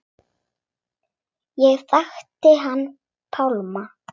Ég þekkti hann Pálma.